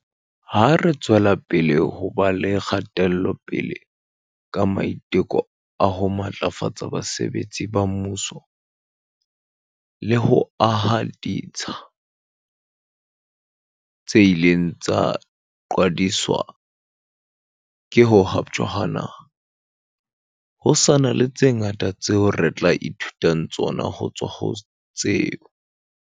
Ha re tswelapele ho ba le kgatelopele ka maiteko a ho matlafatsa basebetsi ba mmuso le ho aha ditsha tse ileng tsa qhwadiswa ke ho haptjwa ha naha, ho sa na le tse ngata tseo re tla e thutang tsona ho tswa ho tseo